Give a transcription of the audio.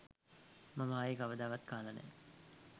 මම ආයේ කවදාවත් කාලා නෑ